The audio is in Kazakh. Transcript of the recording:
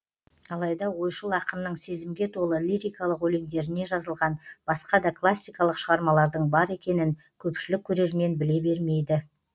алайда ойшыл ақынның сезімге толы лирикалық өлеңдеріне жазылған басқа да классикалық шығармалардың бар екенін көпшілік көрермен біле бермейді